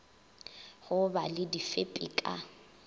go ba le difepi ka